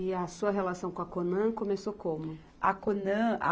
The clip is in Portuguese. E a sua relação com a Conan começou como? A Conan, a